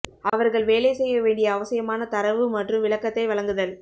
அவர்கள் வேலை செய்ய வேண்டிய அவசியமான தரவு மற்றும் விளக்கத்தை வழங்குதல்